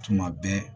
Tuma bɛɛ